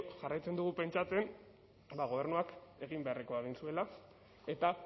jarraitzen dugu pentsatzen gobernuak egin beharrekoa egin zuela eta